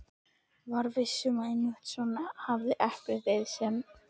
Var viss um að einmitt svona hefði eplið verið sem